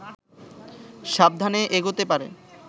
সাবধানে এগোতে পারে